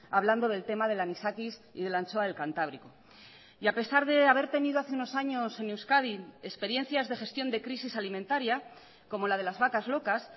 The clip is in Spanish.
hablando del tema del anisakis y de la anchoa del cantábrico y a pesar de haber tenido hace unos años en euskadi experiencias de gestión de crisis alimentaria como la de las vacas locas